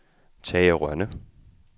Tage Rønne